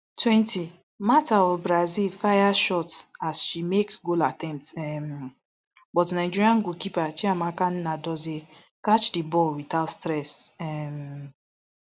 twenty martha of brazil fire shot as she make goal attempt um but nigeria goalkeeper chiamaka nnadozie catch di ball without stress um